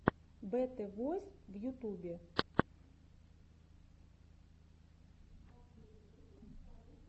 бэтэ войс в ютубе